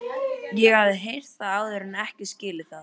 Ég hafði heyrt það áður en ekki skilið það.